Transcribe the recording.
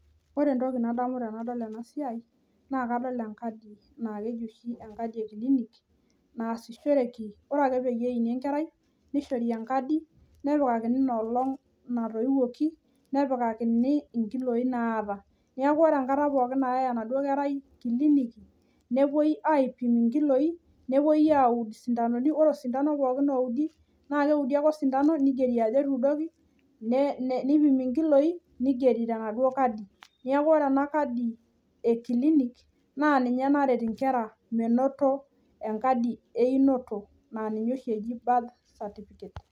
Ore entoki nadamu tenadol ena Siaii naa kadol enkadi naa kejo oshi enkadi ee clinic naasishoreki ore ake peeini enkerai nishori enkadi nepikakini ina olong natoiwuoki nepikakini inkiloii naata neeku kore enkata pookin nayae enaduoo enkerai clinic nepoi aipim inkiloii, nepoi aauud isindanoni neeku ore osidano ouudi nigeri ajo etuudoki nipimi inkiloii ningeri tenaduoo kadi, neeku kore ena Kadi e clinic naa ninye naret inkera menoto enkadi einoto naa ninye oshi eji birth certificate.